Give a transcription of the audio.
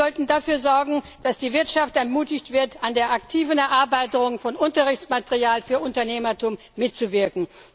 Wir sollten dafür sorgen, dass die Wirtschaft ermutigt wird, an der aktiven Erarbeitung von Unterrichtsmaterial für Unternehmertum mitzuwirken.